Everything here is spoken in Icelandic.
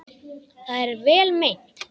Það er vel meint.